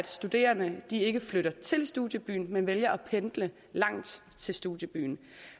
studerende ikke flytter til studiebyen men vælger at pendle langt til studiebyen